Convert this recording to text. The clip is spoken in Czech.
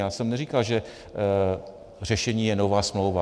Já jsem neříkal, že řešení je nová smlouva.